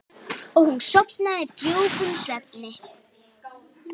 Hér hafið þið þær.